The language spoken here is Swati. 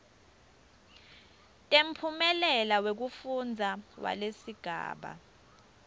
temphumela wekufundza walesigaba